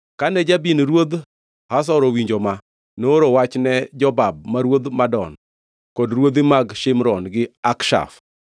Kane Jabin ruodh Hazor owinjo ma, nooro wach ne Jobab ma ruodh Madon, kod ruodhi mag Shimron gi Akshaf,